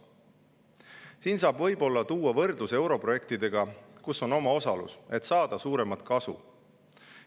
Siin saab võib-olla tuua võrdluse europrojektidega, kus on omaosalus, et saada suuremat kasu.